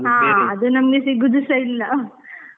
ನಮ್ಗೆ ಸಿಗುದುಸಾ ಇಲ್ಲ .